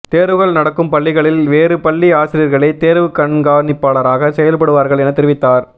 தேர்வுகள் நடக்கும் பள்ளிகளில் வேறு பள்ளி ஆசிரியர்களே தேர்வு கண்காணிப்பாளராக செயல்படுவார்கள் என தெரிவித்தார்